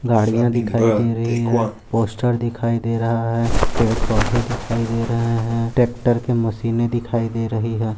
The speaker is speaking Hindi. गड़िया दिखाई दे रही हैं पोस्टर दिखाई दे रहा हैं पेड़-पौधे दिखाई दे रहे हैं ट्रॅक्टर की मशीनें दिखाई दे रही हैं।